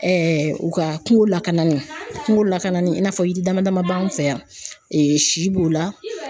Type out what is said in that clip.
u ka kungo lakanani, kungo lakanali in n'a fɔ yiri dama dama b'an fɛ yan si b'o la.